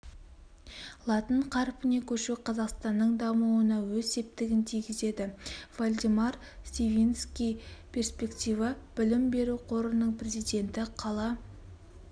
латын қарпіне көшу қазақстанның дамуына өз септігін тигізеді вальдемар сивински перспективы білім біру қорының президенті қала